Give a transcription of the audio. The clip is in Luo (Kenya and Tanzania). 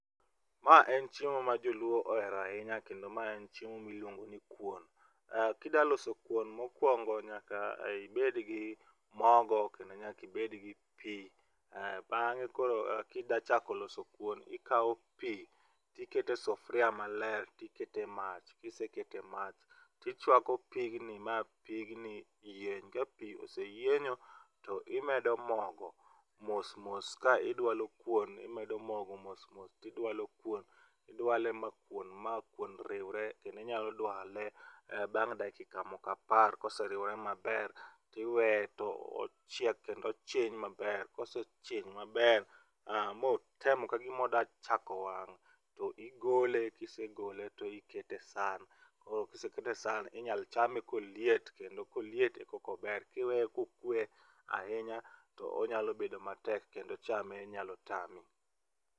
Ma en chiemo ma joluo ohero ahinya kendo mae en chiemo miluongoni kuon. Kida loso kuon mokwongo nyaka ibedgi mogo kendo nyaka ibed gi pi. Bang'e koro kida chako loso kuon, ikawo pi tiketo e sufria maler tiketo e mach. Kiseketo e mach tichwako pigni ma pigni yieny. Ka pi oseyienyo to imedo mogo mos mos ka idwalo kuon imedo mogo mos mos tidwalo kuon, idwale ma kuon ma kuon riwre, kendo inyalo dwale bang' dakika moko apar. Koseriwre maber tiweye to ochiek kendo ochiny maber. Kosechiny maber, motem kagima oda chako wang',to igole, kisegole to ikete e san. Kisekete e san, inya chame koliet kendo koliet koka ober, kiweye bokwe ahinya to onyalo bedo matek kendo chame nyalo tami.